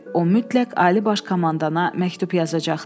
O mütləq Ali Baş Komandana məktub yazacaqdı.